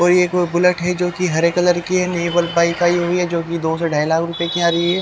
और ये कोई बुलेट है जो कि हरे कलर के नेवल पाइप आई हुई है जो कि दो से ढाई लाख की आ रही है।